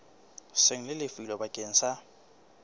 seng le lefilwe bakeng sa